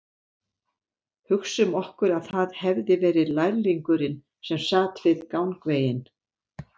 Hugsum okkur að það hefði verið lærlingurinn sem sat við gangveginn